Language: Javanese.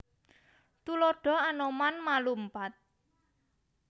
Tuladha Anoman ma lumpat